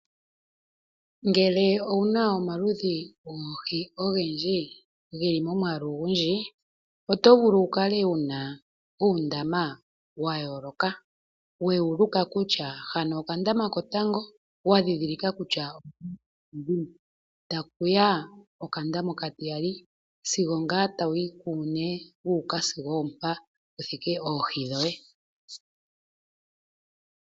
Ngele owuna omaludhi goohi ogendji ge li momwaalu ogundji, oto vulu wu kale wu na uundama wa yooloka. We wu luka kutya hano okandama kotango wa dhindhilika kutya odhini, taku ya okandama okatiya sigo ngaa tawu yi kuune wuuka sigo oompa pu thike oohi dhoye.